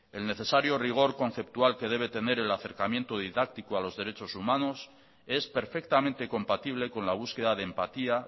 el necesario rigor conceptual que debe tener el acercamiento didáctico a los derechos humanos es perfectamente compatible con la búsqueda de empatía